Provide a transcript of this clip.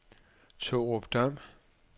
Tårupdam